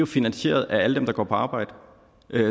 finansieret af alle dem der går på arbejde